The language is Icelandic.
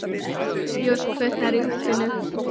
Ljós kviknar í húsinu.